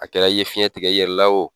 A kɛra i ye fiɲɛ tigɛ i yɛrɛ la wo